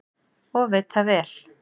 Og veit það vel.